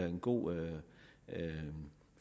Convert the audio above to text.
en god